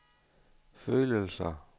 følelser